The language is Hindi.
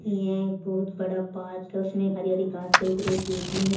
ये एक बहुत बड़ा पार्क है उसमें एक हरी हरी घासें उगी रही बिच में--